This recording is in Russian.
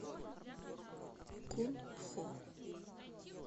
кунпхо